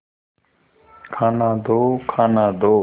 खाना दो खाना दो